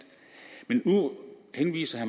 nu henviser